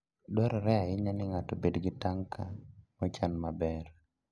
Dwarore ahinya ni ng'ato obed gi tanka mochan maber.